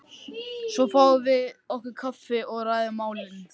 Svo fáum við okkur kaffi og ræðum málin.